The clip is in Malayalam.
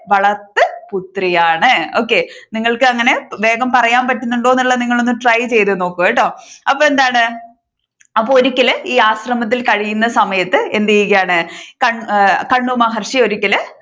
വളർത്തു പുത്രിയാണ്. Okay നിങ്ങൾക്ക് അങ്ങനെ വേഗം പറയാൻ പറ്റുന്നുണ്ടോ എന്നുള്ളത് നിങ്ങൾ ഒന്ന് try നോക്കുകേട്ടോ. അപ്പോ എന്താണ് അപ്പൊ ഒരിക്കലു ഈ ആശ്രമത്തിൽ കഴിയുന്ന സമയത്ത് എന്ത് ചെയ്യുകയാണ് കൺവ മഹർഷി ഒരിക്കലു